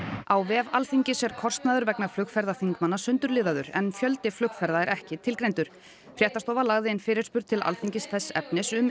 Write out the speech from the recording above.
á vef Alþingis er kostnaður vegna flugferða þingmanna sundurliðaður en fjöldi flugferða er ekki tilgreindur fréttastofa lagði inn fyrirspurn til Alþingis þess efnis um